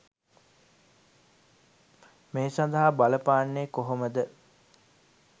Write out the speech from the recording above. මේ සඳහා බලපාන්නේ කොහොමද?